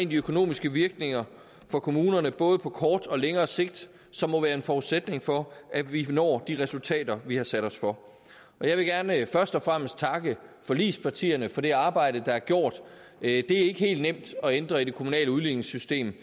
de økonomiske virkninger for kommunerne både på kort og længere sigt som må være en forudsætning for at vi når de resultater vi har sat os for jeg vil gerne først og fremmest takke forligspartierne for det arbejde der er gjort det er ikke helt nemt at ændre i det kommunale udligningssystem